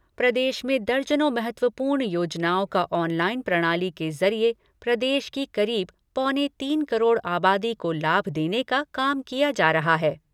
प्रदेश में दर्जनों महत्वपूर्ण योजनाओं को ऑनलाईन प्रणाली के जरिए प्रदेश की करीब पौने तीन करोड़ अबादी को लाभ देने का काम किया जा रहा है।